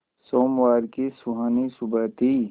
सोमवार की सुहानी सुबह थी